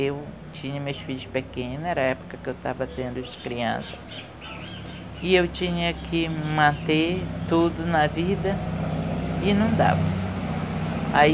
Eu tinha meus filhos pequenos, era a época que eu estava tendo os crianças, e eu tinha que manter tudo na vida e não dava.